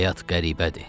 Həyat qəribədir,